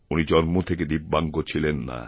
উনি জন্ম থেকে দিব্যাঙ্গ ছিলেন না